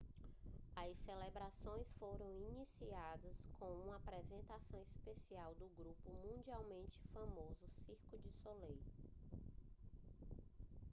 as celebrações foram iniciadas com uma apresentação especial do grupo mundialmente famoso cirque du soleil